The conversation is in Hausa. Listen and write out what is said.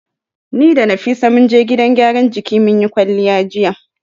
Ni da Nafisa mun je gidan gyaran jiki mun yi kwalliya jiya.